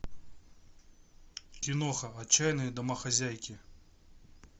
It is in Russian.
киноха отчаянные домохозяйки